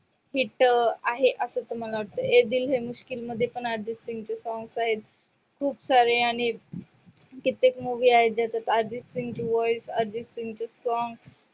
hit अं आहे. असं मला वाटतं ये दिल हे मुश्किल मध्ये पण अर्जित सिंगचे songs आहेत. खूप सारे आणि ते कित्येक movies आहे. त्याच्यात अर्जित सिंग ची voice अर्जित सिंग चे songs